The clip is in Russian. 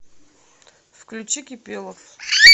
включи кипелов